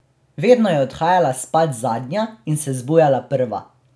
Vedno je odhajala spat zadnja in se zbujala prva.